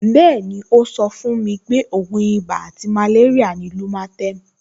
Bẹ́ẹ̀ni, ó sọ fún mi pé ògùn ibà àti màléríà ni lumatem